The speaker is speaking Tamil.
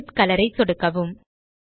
ஜெனித் கலர் ஐ சொடுக்கவும்